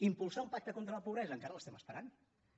impulsar un pacte contra la pobresa encara l’esperem